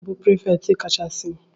Ọnye na-bụ prefect ka cha si?